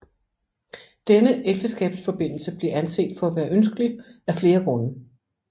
Denne ægteskabsforbindelse blev anset for at være ønskelig af flere grunde